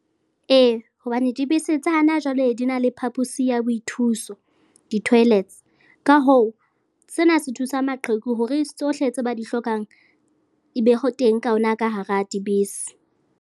Ee, hobane dibese tsa hana jwale di na le phaposi ya boithuso, di-toilets, ka hoo, sena se thusa maqheku hore tsohle tse ba di hlokang e be ho teng ka hona ka hara dibese.